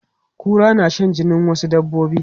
Kura na shan jinin wasu dabbobi.